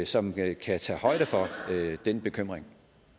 som kan kan tage højde for den bekymring